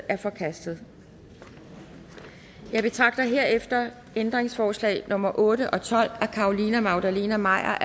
er forkastet jeg betragter herefter ændringsforslag nummer otte og tolv af carolina magdalene maier